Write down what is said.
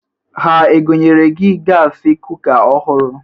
Ha egonyere gị gasị kuka ọhụrụ?